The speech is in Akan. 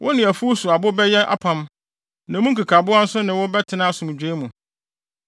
Wo ne afuw so abo bɛyɛ apam, na emu nkekaboa nso ne wo bɛtena asomdwoe mu.